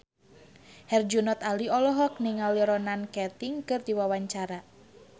Herjunot Ali olohok ningali Ronan Keating keur diwawancara